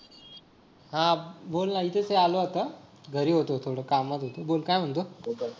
हा बोल ना. ऐकु येतंय आलो आता घरी होतो थोडं कामात होतो बोल काय म्हणतो?